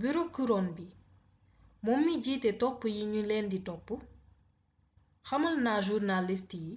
bureau couronne bi moom mi jiite topp yi ñu leen di topp xamal na journaliste yi